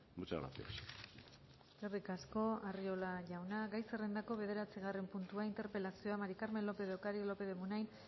muchas gracias eskerrik asko arriola jauna gai zerrendako bederatzigarren puntua interpelazioa maría del carmen lópez de ocariz lópez de munain